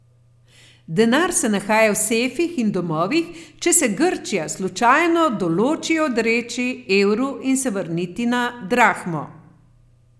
Denar se nahaja v sefih in domovih, če se Grčija slučajno določi odreči evru in se vrniti na drahmo.